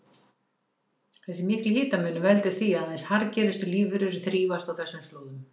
Þessi mikli hitamunur veldur því að aðeins harðgerustu lífverur þrífast á þessum slóðum.